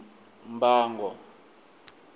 mbango